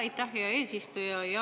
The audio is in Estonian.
Aitäh, hea eesistuja!